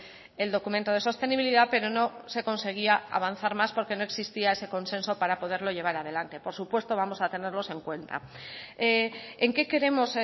el documento de sostenibilidad pero no se conseguía avanzar más porque no existía ese consenso para poderlo llevar adelante por supuesto vamos a tenerlos en cuenta en qué queremos